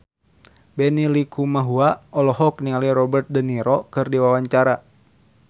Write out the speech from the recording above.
Benny Likumahua olohok ningali Robert de Niro keur diwawancara